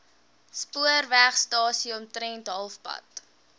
spoorwegstasie omtrent halfpad